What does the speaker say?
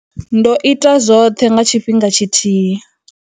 Ndo ita zwoṱhe nga tshifhinga tshi thihi.